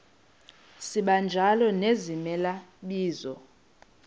sibanjalo nezimela bizo